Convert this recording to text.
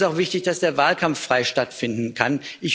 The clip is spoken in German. Es ist auch wichtig, dass der Wahlkampf frei stattfinden kann.